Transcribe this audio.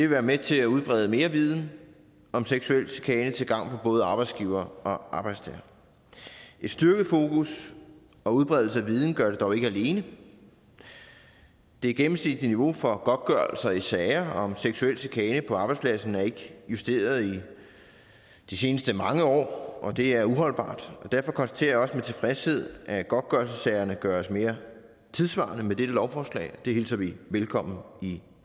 være med til at udbrede mere viden om seksuel chikane til gavn for både arbejdsgivere og arbejdstagere et styrket fokus og udbredelse af viden gør det dog ikke alene det gennemsnitlige niveau for godtgørelser i sager om seksuel chikane på arbejdspladsen er ikke justeret i de seneste mange år og det er uholdbart derfor konstaterer jeg også med tilfredshed at godtgørelsessagerne gøres mere tidssvarende med dette lovforslag og det hilser vi velkommen i